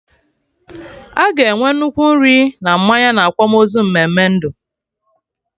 Aga enwe nnukwu nri na mmanya na akwamozu mmeme ndụ